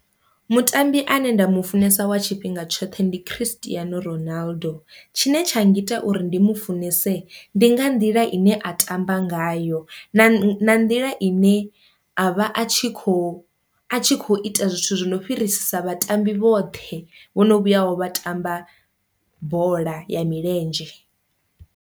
Mutambi ane nda mufunesa wa tshifhinga tshoṱhe ndi Christian Ronaldo, tshine tsha ngita uri ndi mu funese ndi nga nḓila ine a ṱamba ngayo na na nḓila ine a vha a tshi kho a tshi kho ita zwithu zwi no fhirisa vhatambi vhoṱhe vhono vhuyaho vha tamba bola ya milenzhe.